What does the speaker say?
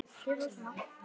Láttu það bara flakka!